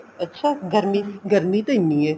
ਅੱਛਾ ਗਰਮੀ ਗਰਮੀ ਤਾਂ ਐਨੀ ਏ